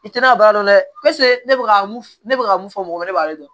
I tɛ na baara dɔn dɛ ne bɛ ka mun ne bɛ ka mun fɔ mɔgɔ wɛrɛ b'ale dɔn